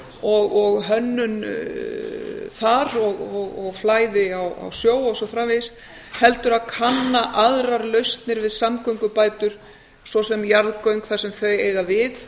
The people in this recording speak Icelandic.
og hönnun þar og flæði á sjó og svo framvegis heldur að kanna aðrar lausnir við samgöngubætur svo sem jarðgöng þar sem þau eiga við